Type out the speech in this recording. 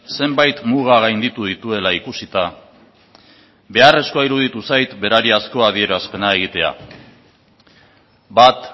zenbait muga gainditu dituela ikusita beharrezkoa iruditu zait berariazko adierazpena egitea bat